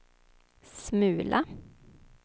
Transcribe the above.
smula